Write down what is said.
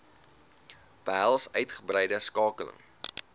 behels uitgebreide skakeling